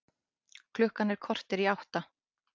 Klukkan korter í átta